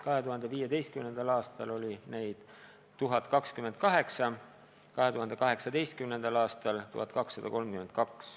2015. aastal oli neid 1029, 2018. aastal 1232.